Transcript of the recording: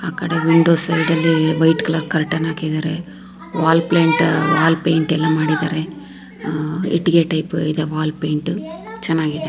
ಆ ಕಡೆ ವಿಂಡೋ ಸೈಡಲ್ಲಿ ವೈಟ್ ಕಲರ್ ಕರ್ಟನ್ ಹಾಕಿದ್ದಾರೆ ವಾಲ್ಪೇಂಟು ವಾಲ್ಪೇಂಟ್ ಎಲ್ಲಾ ಮಾಡಿದ್ದಾರೆ ಅಹ್ ಇಟ್ಟಿಗೆ ಟೈಪ್ ಇದೆ ವಾಲ್ಪೇಂಟ್ ಚೆನ್ನಾಗಿದೆ.